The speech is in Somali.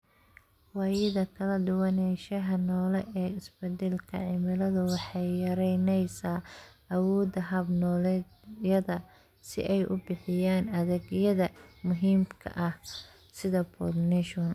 Waayida kala duwanaanshaha noole ee isbeddelka cimiladu waxay yaraynaysaa awoodda hab-nololeedyada si ay u bixiyaan adeegyada muhiimka ah, sida pollination.